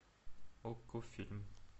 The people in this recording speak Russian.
окко фильм